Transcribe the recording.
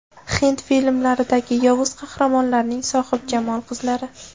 Hind filmlaridagi yovuz qahramonlarning sohibjamol qizlari .